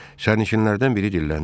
Sərnişinlərdən biri dilləndi.